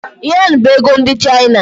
Yen bụ ego ndị China